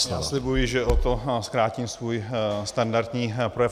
Já slibuji, že o to zkrátím svůj standardní projev.